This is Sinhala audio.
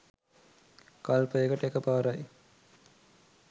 කල්පයකට එකපාරයි.